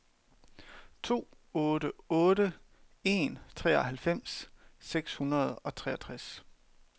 to otte otte en treoghalvfems seks hundrede og treogtres